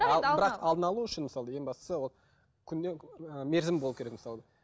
алдын алу үшін мысалы ең бастысы ол мерзім болу керек мысалы